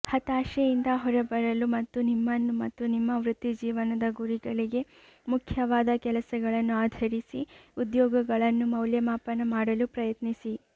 ಹತಾಶೆಯಿಂದ ಹೊರಬರಲು ಮತ್ತು ನಿಮ್ಮನ್ನು ಮತ್ತು ನಿಮ್ಮ ವೃತ್ತಿಜೀವನದ ಗುರಿಗಳಿಗೆ ಮುಖ್ಯವಾದ ಕೆಲಸಗಳನ್ನು ಆಧರಿಸಿ ಉದ್ಯೋಗಗಳನ್ನು ಮೌಲ್ಯಮಾಪನ ಮಾಡಲು ಪ್ರಯತ್ನಿಸಿ